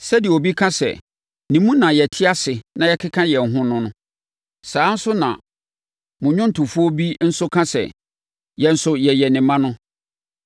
sɛdeɛ obi ka sɛ, ‘Ne mu na yɛte ase na yɛkeka yɛn ho’ no no. Saa ara nso na mo nnwomtofoɔ bi nso aka sɛ, ‘Yɛn nso yɛyɛ ne mma’ no.